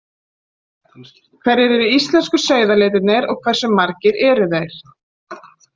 Hverjir eru íslensku sauðalitirnir og hversu margir eru þeir?